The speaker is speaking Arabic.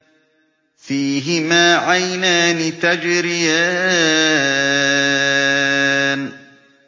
فِيهِمَا عَيْنَانِ تَجْرِيَانِ